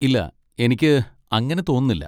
ഇല്ല, എനിക്ക് അങ്ങനെ തോന്നുന്നില്ല.